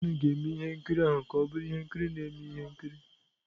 John ga-eme ihe nkiri ahụ ka ọ bụrụ ihe nkiri na-eme ihe nkiri.